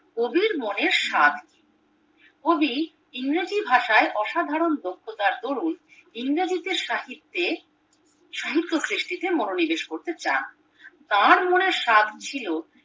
কবির মনের সাধ কবি ইংরেজি ভাষায় অসাধারণ দক্ষতাজ্ঞ রয়েছে ইংরেজি সাহিত্যে সৃষ্টিতে মনোনিবেশ করতে চান তার মনে সাধ ছিল